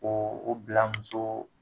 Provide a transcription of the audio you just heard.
Ko o bila muso